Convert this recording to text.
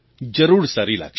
જરૂર સારી લાગશે